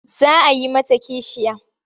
Za a yi mata kishiya.